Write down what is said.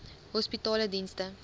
hospitaledienste